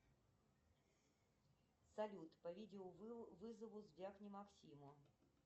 салют по видеовызову звякни максиму